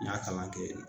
N y'a kalan kɛ